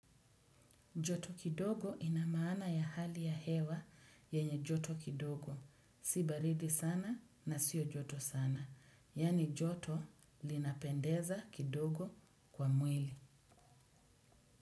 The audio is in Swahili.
Joto kidogo ina maana ya hali ya hewa yenye joto kidogo. Si baridi sana na sio joto sana. Yani joto linapendeza kidogo kwa mwili.